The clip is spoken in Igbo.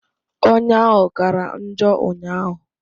Ọnya ahụ kara njọ ụnyaahụ